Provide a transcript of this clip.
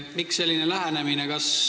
Miks selline lähenemine?